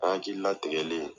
An hakili latigɛlen.